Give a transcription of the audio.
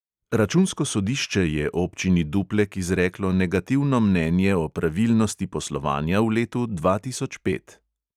Računsko sodišče je občini duplek izreklo negativno mnenje o pravilnosti poslovanja v letu dva tisoč pet.